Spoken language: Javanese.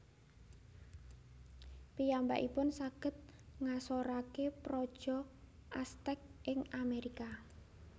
Piyambakipun saged ngasoraken praja Aztec ing Amerika